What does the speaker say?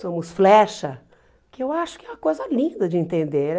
Somos flecha, que eu acho que é uma coisa linda de entender.